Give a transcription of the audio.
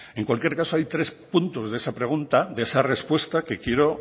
en cualquier caso hay tres puntos de esa pregunta de esa respuesta que quiero